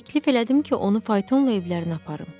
Təklif elədim ki, onu faytonla evlərinə aparım.